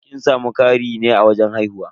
Kin samu ƙari ne a wajen haihuwa?